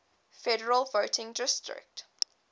federal voting district